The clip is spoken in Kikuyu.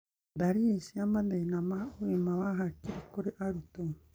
ndariri cia mathĩna ma ũgima wa hakiri kũrĩ arutwo